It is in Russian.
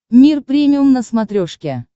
мир премиум на смотрешке